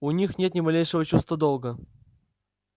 у них нет ни малейшего чувства долга